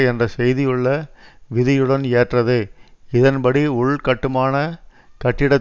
என்ற செய்தி உள்ள விதியுடன் ஏற்றது இதன்படி உள்கட்டுமான கட்டிட